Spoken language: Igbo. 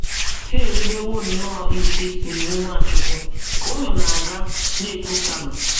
O nyere “ ndị ohu ya, ndị ndị dibịa, iwu ịkwado ozu nna ya. ”